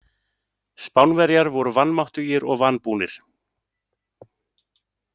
Spánverjar voru vanmáttugir og vanbúnir.